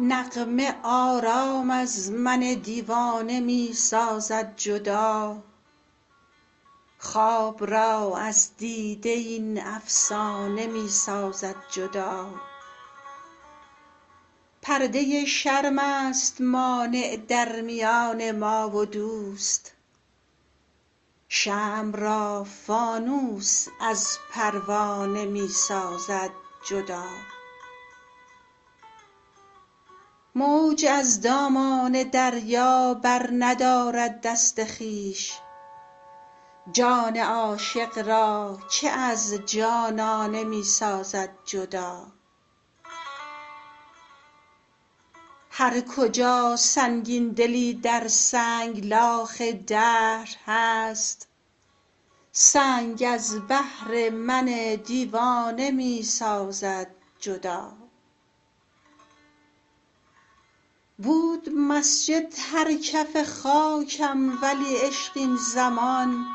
نغمه آرام از من دیوانه می سازد جدا خواب را از دیده این افسانه می سازد جدا پرده شرم است مانع در میان ما و دوست شمع را فانوس از پروانه می سازد جدا موج از دامان دریا برندارد دست خویش جان عاشق را که از جانانه می سازد جدا هرکجا سنگین دلی در سنگلاخ دهر هست سنگ از بهر من دیوانه می سازد جدا بود مسجد هر کف خاکم ولی عشق این زمان